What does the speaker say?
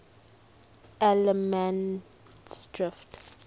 allemansdrift